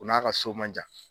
U n'a ka so man jan.